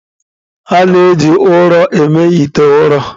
A na-eji ụrọ eme ite ụrọ.